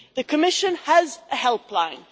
The Commission has a helpline.